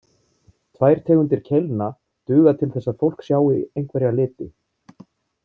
Tvær tegundir keilna duga til þess að fólk sjái einhverja liti.